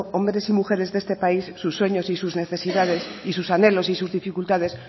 hombres y mujeres de este país sus sueños y sus necesidades y sus anhelos y sus dificultades